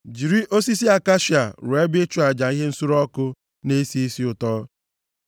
“Jiri osisi akashia rụọ ebe ịchụ aja ihe nsure ọkụ na-esi isi ụtọ.